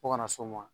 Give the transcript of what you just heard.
Fo kana s'o ma